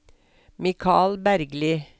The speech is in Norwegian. Michael Bergli